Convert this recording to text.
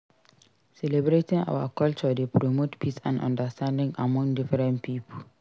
Celebrating our culture dey promote peace and understanding among different pipo.